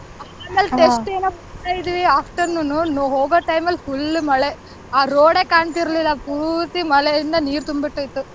ಆಮೇಲೆ test ಏನೋ ಬರೀತಾ ಇದಿವಿ afternoon ಹೋಗೋ time ಅಲ್ಲಿ full ಮಳೆ ಆ road ಏ ಕಾಂತಿರಲಿಲ್ಲ ಪೂರ್ತಿ ಮಳೆಯಿಂದ ನೀರ್ ತುಂಬಿಟ್ಟಿತ್ತು.